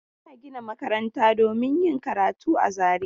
Ana gina makaranta domin yin karatu a Zariya.